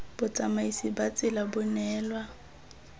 botsamaisi ba tsela bo neelwa